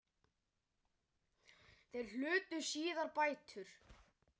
Þeir hlutu síðar bætur.